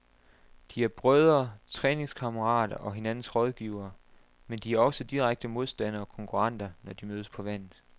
De er brødre, træningskammerater og hinandens rådgivere, men de er også direkte modstandere og konkurrenter, når de mødes på vandet.